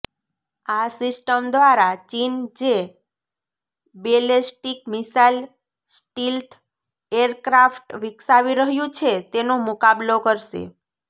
આ સિસ્ટમ દ્વારા ચીન જે બેલેસ્ટીક મિસાઇલ સ્ટીલ્થ એરક્રાફ્ટ વિકસાવી રહ્યું છે તેનો મુકાબલો કરશે